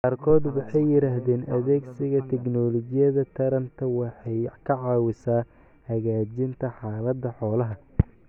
Qaarkood waxay yiraahdeen adeegsiga tignoolajiyada taranta waxay ka caawisaa hagaajinta xaaladda xoolaha.